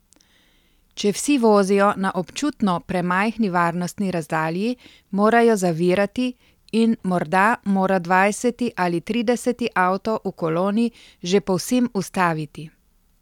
Če vsi vozijo na občutno premajhni varnostni razdalji, morajo zavirati in morda mora dvajseti ali trideseti avto v koloni že povsem ustaviti.